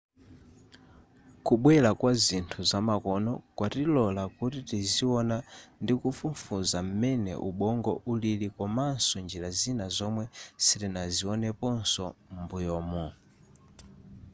kubwera kwazinthu zamakono kwatilola kuti tiziona ndikufufuza m'mene ubongo ulili komaso njira zina zomwe sitinazioneposo m'mbuyumu